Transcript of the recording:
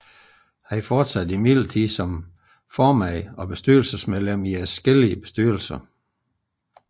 Han fortsatte imidlertid som formand og bestyrelsesmedlem i adskillige bestyrelser